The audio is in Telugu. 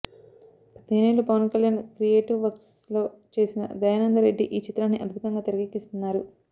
పదిహేనేళ్లు పవన్ కల్యాణ్ క్రియేటివ్ వర్క్స్ లో చేసిన దయానంద రెడ్డి ఈ చిత్రాన్ని అద్భుతంగా తెరకెక్కిస్తున్నారు